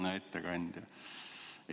Hea ettekandja!